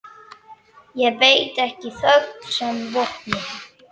Ég beiti ekki þögn sem vopni.